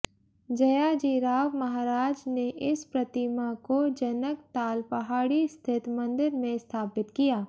जयाजीराव महाराज ने इस प्रतिमा को जनकताल पहाड़ी स्थित मंदिर में स्थापित किया